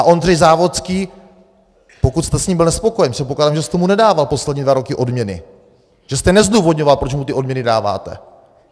A Ondřej Závodský, pokud jste s ním byl nespokojen, předpokládám, že jste mu nedával poslední dva roky odměny, že jste nezdůvodňoval, proč mu ty odměny dáváte.